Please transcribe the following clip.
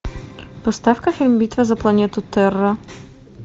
поставь ка фильм битва за планету терра